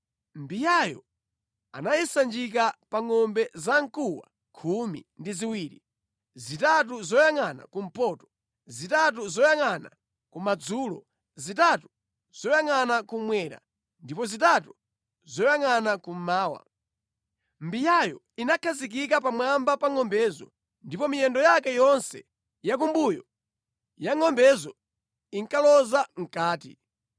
Mbiyayo anayisanjika pa ngʼombe zamkuwa khumi ndi ziwiri, zitatu zoyangʼana kumpoto, zitatu zoyangʼana kumadzulo, zitatu zoyangʼana kummwera ndipo zitatu zoyangʼana kummawa. Mbiyayo inakhazikika pamwamba pa ngʼombezo, ndipo miyendo yake yonse yakumbuyo ya ngʼombezo inkaloza mʼkati.